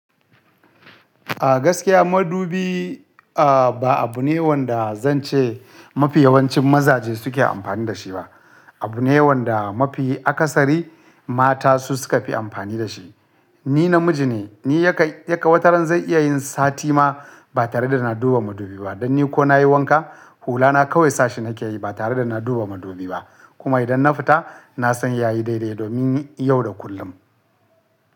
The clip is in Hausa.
A gaskiya madubi, a ba abu ne wanda zan ce mafi yawancin mazaje suke amfani da shi ba. Abu ne wanda mafi akasari mata su suka fi amfani da shi. Ni namiji ne, ni ya ka, ya ka wataran zan iya yin sati ma ba tare da na duba madubi ba. Don ni ko na yi wanka, hulana kawai sashi na ke yi ba tare da na duba madubi ba. Kuma idan na fita, na san ya yi daidai domin yau da kullum.